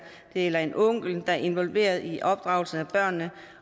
eller en onkel der er involveret i opdragelsen af børnene